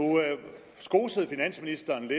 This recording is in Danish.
skosede finansministeren